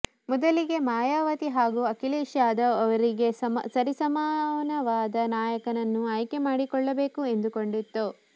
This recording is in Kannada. ಮೊದಲಿಗೆ ಮಾಯಾವತಿ ಹಾಗೂ ಅಖಿಲೇಶ್ ಯಾದವ್ ಅವರಿಗೆ ಸರಿಸಮಾನವಾದ ನಾಯಕನನ್ನ ಆಯ್ಕೆ ಮಾಡಿಕೊಳ್ಳಬೇಕು ಎಂದುಕೊಂಡಿತ್ತು